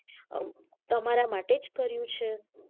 તમારા માટે જ કર્યું છે